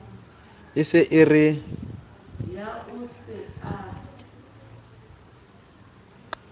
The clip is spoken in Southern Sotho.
e se e re putla